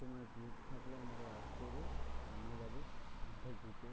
তোমার group থাকলে আমারে add করো। আমিও যাবো এই group এ।